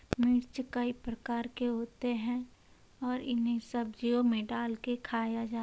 मिर्च कई प्रकार के होते हैं और इन्हें सब्जियों में डाल के खाया जा --